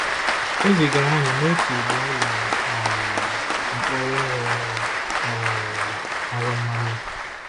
E zigara anyị n’otu ugbo ụlọ um mkpọrọ ịrụ um ọrụ mmanye.